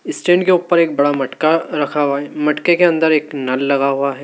Stand के ऊपर एक बड़ा मटका रखा हुआ मटके के अंदर एक नल लगा हुआ है।